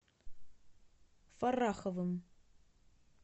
фарраховым